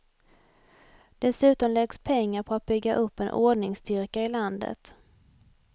Dessutom läggs pengar på att bygga upp en ordningsstyrka i landet.